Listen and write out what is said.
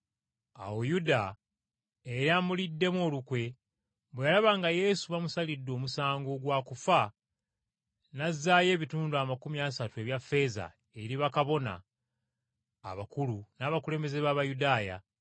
Awo Yuda, eyali amuliddemu olukwe, bwe yalaba nga Yesu bamusalidde omusango gwa kufa, n’azzaayo ebitundu amakumi asatu ebya ffeeza eri bakabona abakulu n’abakulembeze b’Abayudaaya,